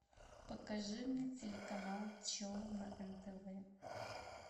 покажи мне телеканал че на нтв